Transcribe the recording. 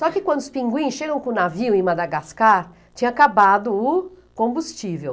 Só que quando os pinguins chegam com o navio em Madagascar, tinha acabado o combustível.